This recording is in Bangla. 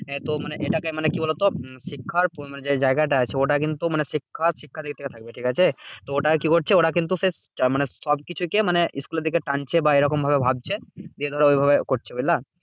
এ তো এটাকে মানে কি বলতো? শিক্ষার যে জায়গাটা আছে ওটা কিন্তু মানে শিক্ষার শিক্ষাতেই থাকবে ঠিকাছে? তো ওটা কি করছে? ওরা কিন্তু সে মানে সবকিছুকে মানে school দিকে টানছে বা এরকম ভাবে ভাবছে যে, ধরো ঐভাবে করছে, বুঝলা?